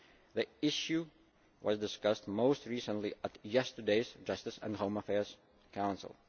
The issue was discussed most recently at yesterday's Justice and Home Affairs Council.